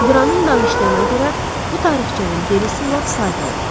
Qranın danışdığına görə bu tarixçənin gerisi lap sadə olub.